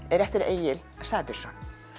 er eftir Egil Sæbjörnsson